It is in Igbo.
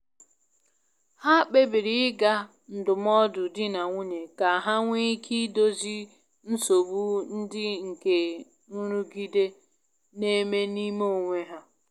Ha kpebiri ịga ndụmọdụ di na nwunye ka ha nwee ike idozi nsogbu ndị nke nrụgide n'eme n'ime onwe ha.